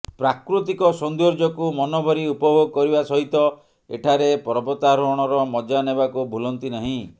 ପ୍ରାକୃତିକ ସୌନ୍ଦର୍ଯ୍ୟକୁ ମନଭରି ଉପଭୋଗ କରିବା ସହିତ ଏଠାରେ ପର୍ବତାରୋହଣର ମଜା ନେବାକୁ ଭୁଲନ୍ତିନାହିଁ